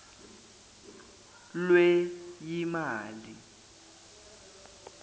lweyimali